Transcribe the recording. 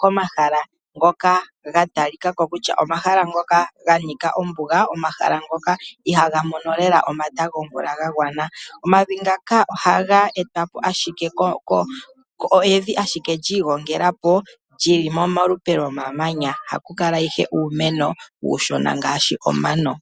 komahala ngoka gatalikako kutya omahala ngoka ganika ombuga, omahala ngoka ihaga mono lela omata gomvula gagwana. Omavi ngaka ohaga etwa po ashike kevi lyiigongela po, lyili molupe lomamanya. Ohaku kala ihe uumeno uushona ngaashi omano.